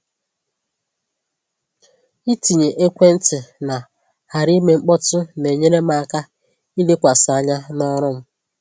Ịtinye ekwentị na ‘ghara ime mkpọtụ’ na-enyere m aka ilekwasị anya n’ọrụ m.